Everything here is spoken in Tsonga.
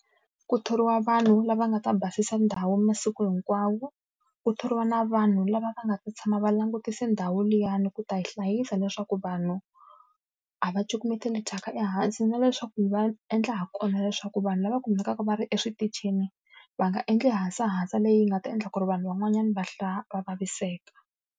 Ku thoriwa vanhu lava nga ta basisa ndhawu masiku hinkwawo, ku thoriwa na vanhu lava va nga ta tshama va langutise ndhawu liyani ku ta yi hlayisa leswaku vanhu a va cukumeteli thyaka ehansi. Na leswaku va endla ha kona leswaku vanhu lava kumekaka va ri eswitichini, va nga endli hasahasa leyi nga ta endla ku ri vanhu van'wanyana va va vaviseka.